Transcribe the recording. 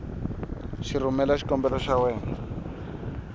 ku rhumela xikombelo xa wena